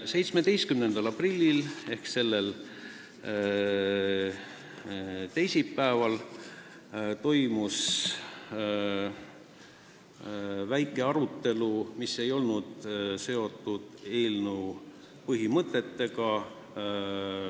17. aprillil ehk sellel teisipäeval toimus väike arutelu, mis ei olnud seotud eelnõu põhimõtetega.